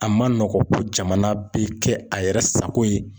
A ma nɔgɔn ko jamana bɛ kɛ a yɛrɛ sago ye.